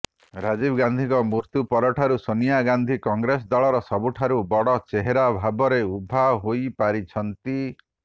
ରାଜୀବ ଗାନ୍ଧୀଙ୍କ ମୃତ୍ୟୁ ପରଠାରୁ ସୋନିଆ ଗାନ୍ଧୀ କଂଗ୍ରେସ ଦଳର ସବୁଠାରୁ ବଡ ଚେହେରା ଭାବରେ ଉଭା ହୋଇପାରିଛନ୍ତି